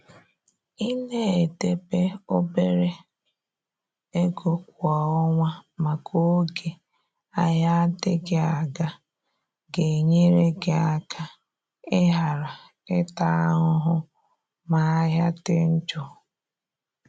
i na edebe obere ego kwa ọnwa maka oge ahịa adịghị aga. ga-enyere gị aka i ghara ịta ahụhụ ma ahịa dị njọ.